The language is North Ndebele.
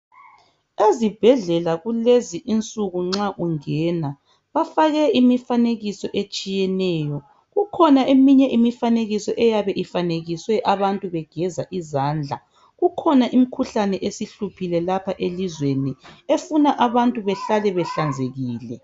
Ezibhendlela kulezi insuku nxa ungena bafake imifanekiso etshiyeneyo kukhona eminye imifanekiso eyabe ufanekiswe abantu begeza izandla. Kukhona imkhuhlane esihluphile lapha elizweni efuna abantu behlale behlanzekile